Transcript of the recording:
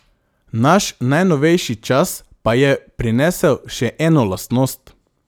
Naš najnovejši čas pa je prinesel še eno lastnost.